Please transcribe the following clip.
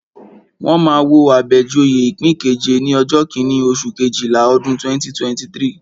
Wọ́n máa wo Abejoye ipin keje ní ọjọ́ kíní, oṣù Kejìlá, ọdún 2023.